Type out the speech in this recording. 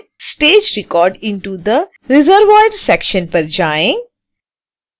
stage records into the reservoir section पर जाएँ